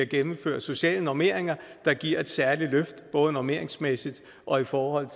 gennemføre sociale normeringer der giver et særligt løft både normeringsmæssigt og i forhold